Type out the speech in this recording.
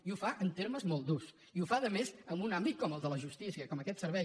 i ho fa en termes molt durs i ho fa a més en un àmbit com el de la justícia com aquest servei